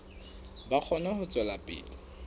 ba kgone ho tswela pele